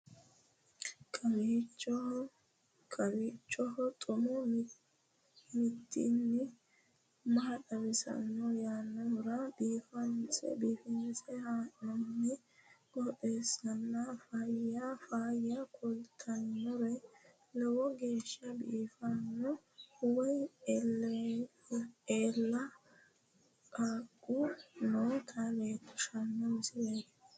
kowiicho xuma mtini maa xawissanno yaannohura biifinse haa'noonniti qooxeessano faayya kultannori lowo geeshsha biiffanno wayi eela qaaqu noota leellishshanno misileeti